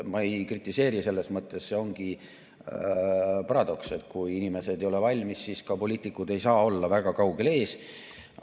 Ma ei kritiseeri, selles mõttes see ongi paradoks, et kui inimesed ei ole valmis, siis ka poliitikud ei saa olla väga kaugel ees.